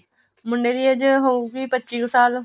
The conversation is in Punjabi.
ਮੁੰਡੇ ਦੀ age ਹੋਏਗੀ ਪੱਚੀ ਕੁ ਸਾਲ